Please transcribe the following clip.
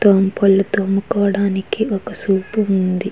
పళ్ళు తోముకోవడానికి ఒక సోపు ఉంది.